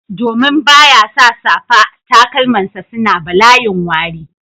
Domin ba ya sa safa, takalmansa suna balayin wari